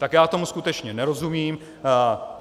Tak já tomu skutečně nerozumím.